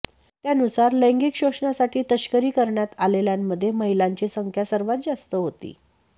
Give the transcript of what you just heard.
त्यानुसार लैंगिक शोषणासाठी तस्करी करण्यात आलेल्यांमध्ये महिलांची संख्या सर्वात जास्त होती